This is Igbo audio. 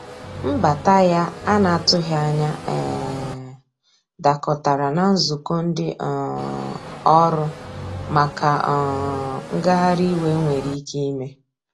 Mbata ya ana atụghi anya um dakọtara na nzụkọ ndi um ọrụ maka um ngahari iwe enwere ike ime.